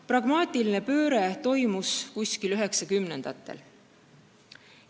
Pragmaatiline pööre toimus 1990. aastatel.